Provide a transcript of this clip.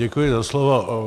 Děkuji za slovo.